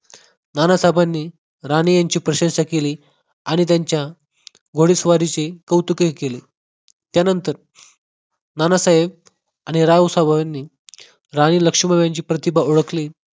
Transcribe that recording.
नानासाहेबांनी राणे यांची प्रशासना केली आणि त्यांच्या घोड स्वारीचे कौतुकही केले त्यानंतर नानासाहेब आणि रावसाहेबांनी राणी लक्ष्मीबाई यांची प्रतिभा ओळखली